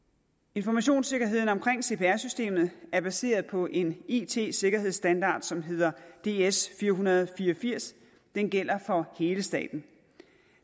informationssikkerheden omkring cpr systemet er baseret på en it sikkerhedsstandard som hedder ds fire hundrede og fire og firs den gælder for hele staten